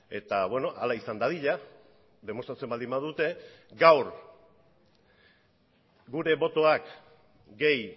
eta hala izan dadila demostratzen baldin badute gaur gure botoak gehi